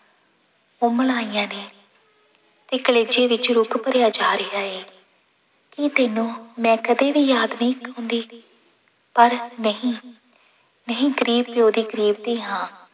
ਆਈਆਂ ਨੇ ਵੀ ਕਲੇਜੇ ਵਿੱਚ ਰੁਘ ਭਰਿਆ ਜਾ ਰਿਹਾ ਹੈ ਕੀ ਤੈਨੂੰ ਮੈਂ ਕਦੇ ਵੀ ਯਾਦ ਨਹੀਂ ਆਉਂਦੀ ਪਰ ਨਹੀਂ, ਮੈਂ ਹੀ ਗ਼ਰੀਬ ਪਿਓ ਦੀ ਗ਼ਰੀਬ ਧੀ ਹਾਂ।